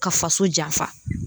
Ka faso janfa